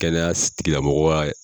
Kɛnɛya si tigi la mɔgɔ ka